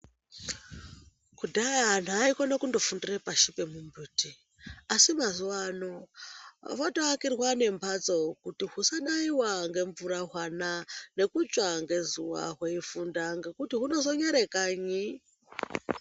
Kudhaya antu aikone kundofundire pashi pemumbiti asi mazuva ano votoakirwa ngembatso kuti husanaiwa ngemvura hwana kana kupishwa ngezuwa hweifunda ngekuti hunozonyare kanyi.